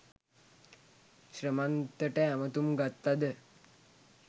ශ්‍රමන්තට ඇමතුම් ගත්තද